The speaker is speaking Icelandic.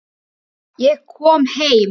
Hún býður honum inn.